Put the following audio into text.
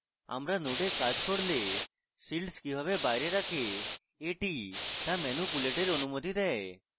আমরা node কাজ করলে fields কিভাবে বাইরে রাখে এটি তা ম্যানুপুলেটের অনুমতি দেয়